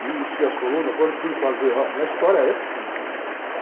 Fiz, enchi as colunas, quando fui fazer, óh, a minha história é simples, viu? Tá?